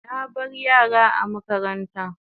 Na bar yara a makaranta